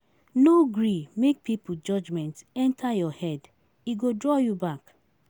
No gree make pipo judgement enta your head, e go draw you back.